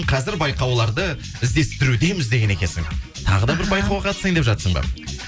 қазір байқауларды іздестірудеміз деген екенсің тағы да бір байқауға қатысайын деп жатырсың ба